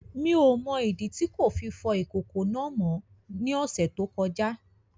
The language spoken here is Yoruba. Mi ò mọ ìdí tí kò fi fọ ìkòkò náà mọ́ ní ọ̀sẹ̀ tó kọjá